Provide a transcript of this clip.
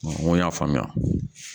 N ko n y'a faamuya